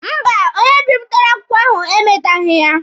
Mba, onye bipụtara akwụkwọ ahụ e meteghi ya.